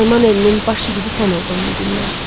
Naiman elinin baş yigidi sən oldun bu gündən.